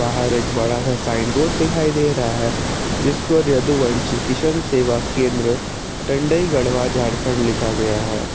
बाहर एक बड़ा सा साइन बोर्ड दिखाई दे रहा है जिस पर यदुवंशी किशन सेवा केंद्र डंडई गढ़वा झारखंड लिखा गया है।